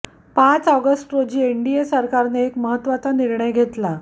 पाच ऑगस्ट रोजी एनडीए सरकारने एक महत्त्वाचा निर्णय घेतला